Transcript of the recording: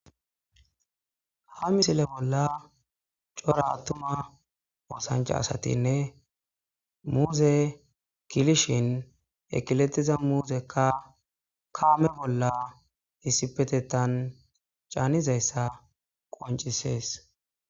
Ha misile bolla cora attuma oosanchcha asatinne muuze kilishin ekiletiza muzekka kaame bolla issipetetan caanizayssa qoncisees.